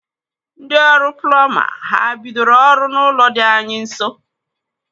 Ndị ọrụ plumba ha bidoro ọrụ n'ụlọ dị anyị nso?